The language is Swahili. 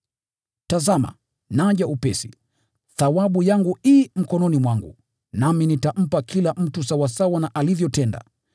“Tazama, naja upesi! Thawabu yangu i mkononi mwangu, nami nitampa kila mtu sawasawa na alivyotenda.